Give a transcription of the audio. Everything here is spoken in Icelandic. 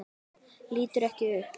Lítur ekki upp.